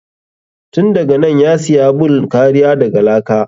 Tun daganan ya siya bun kariya daga laka.